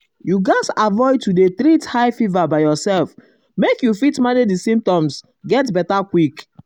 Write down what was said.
you gatz avoid to avoid to dey treat um high fever by yourself make you fit manage di symptoms get beta quick.